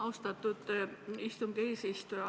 Austatud istungi eesistuja!